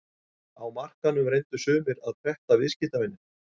Á markaðnum reyndu sumir að pretta viðskiptavininn.